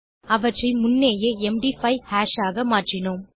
அவற்றை முன்னேயே MD five hash ஆக மாற்றினோம்